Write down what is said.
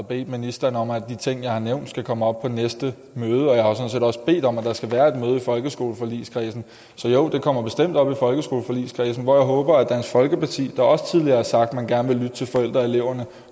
bedt ministeren om at de ting jeg har nævnt skal komme op på næste møde og jeg også bedt om at der skal være et møde i folkeskoleforligskredsen så jo det kommer bestemt op i folkeskoleforligskredsen hvor jeg håber at dansk folkeparti der også tidligere har sagt at man gerne vil lytte til forældrene og eleverne